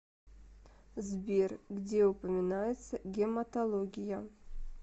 сбер где упоминается гематология